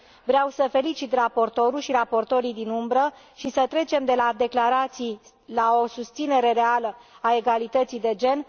Vreau să felicit raportorul și raportorii din umbră și să trecem de la declarații la o susținere reală a egalității de gen.